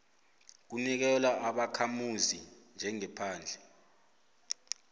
kunikelwa ubakhamuzi njengephandle